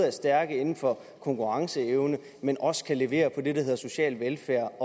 er stærke inden for konkurrenceevne men også kan levere på det der hedder social velfærd